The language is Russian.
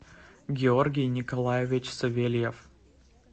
георгий николаевич савельев